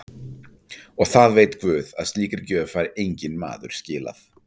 Og það veit guð að slíkri gjöf fær enginn maður skilað.